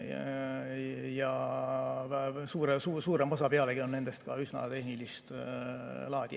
Ja pealegi suurem osa nendest on üsna tehnilist laadi.